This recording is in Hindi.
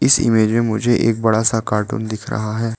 इस इमेज में मुझे एक बड़ा सा कार्टून दिख रहा है।